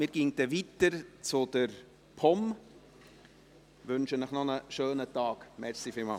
Wir gehen weiter zu den Geschäften der POM.